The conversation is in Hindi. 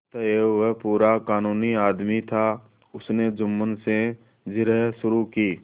अतएव वह पूरा कानूनी आदमी था उसने जुम्मन से जिरह शुरू की